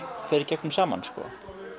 fer í gegnum saman sko